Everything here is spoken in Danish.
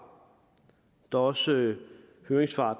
der er også høringssvar